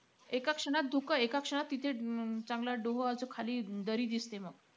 एका क्षणात धुकं एका क्षणात तिथं अं चांगलं डोह असा खाली, दरी दिसते मग.